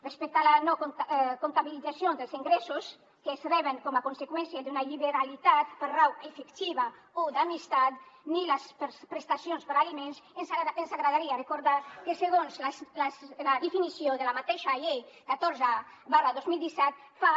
respecte a la no comptabilització dels ingressos que es reben com a conseqüència d’una lliberalitat per raó afectiva o d’amistat ni les prestacions per a aliments ens agradaria recordar que segons la definició de la mateixa llei catorze dos mil disset fa